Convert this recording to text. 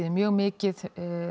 mjög mikið